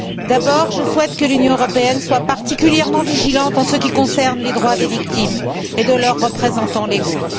D'abord, je souhaite que l'Union européenne soit particulièrement vigilante en ce qui concerne les droits des victimes et de leurs représentants légaux.